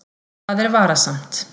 Það er varasamt.